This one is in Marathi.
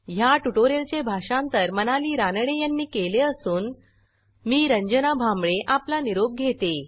ह्या ट्युटोरियलचे भाषांतर मनाली रानडे यांनी केले असून मी रंजना भांबळे आपला निरोप घेते